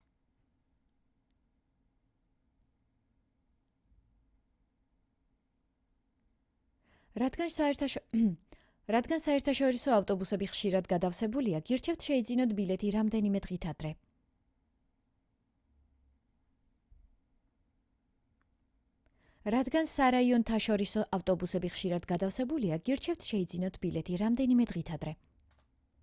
რადგან სარაიონთაშორისო ავტობუსები ხშირად გადავსებულია გირჩევთ შეიძინოთ ბილეთი რამდენიმე დღით ადრე